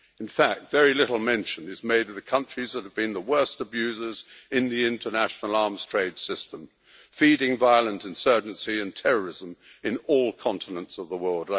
In fact, very little mention is made of the countries that have been the worst abusers in the International Arms Trade System, feeding violent insurgency and terrorism in all continents of the world.